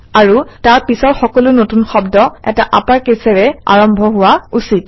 আৰু তাৰ পিছৰ সকলো নতুন শব্দ এটা আপাৰকেচেৰে আৰম্ভ হোৱা উচিত